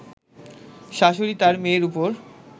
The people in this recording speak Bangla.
শাশুড়ী তার মেয়ের উপর